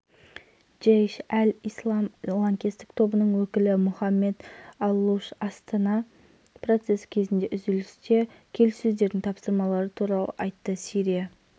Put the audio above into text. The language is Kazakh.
қаңтарда германияның ресми өкілі мартин шефер сирияның өтпелі кезеңінде асадтың келіссөздерге қатысуына жол бере отырып сирияның болашағын асадпен байланыстырмайтындығын айтты